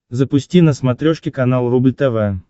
запусти на смотрешке канал рубль тв